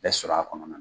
Bɛɛ sɔrɔ a kɔnɔna na